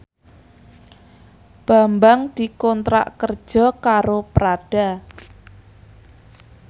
Bambang dikontrak kerja karo Prada